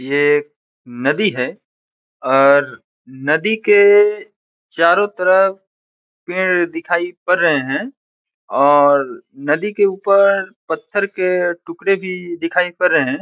यह एक नदी है और नदी के चारो तरफ पेड़ दिखाई पड़ रहे है और नदी के ऊपर पत्थर के टुकड़े भी दिखाई पड़ रहे है।